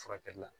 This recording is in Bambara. Furakɛli la